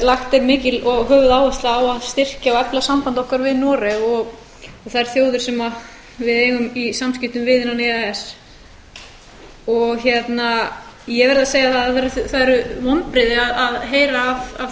lagt er mikil og höfuðáhersla á að styrkja og efla samband okkar við noreg og þær þjóðir sem við eigum í samskiptum við innan e e s ég verð að segja að það að það eru vonbrigði að